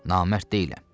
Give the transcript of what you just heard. Namərd deyiləm.